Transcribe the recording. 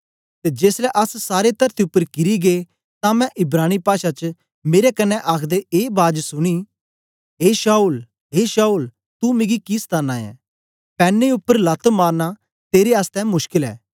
ते जेसलै अस सारे तरती उपर किरी गै तां मैं इब्रानी पाषा च मेरे कन्ने आखदे ए बाज सुनी ए शाऊल ए शाऊल तू मिकी कि सताना ऐ पैने उपर लत मारना तेरे आसतै मुश्कल ऐ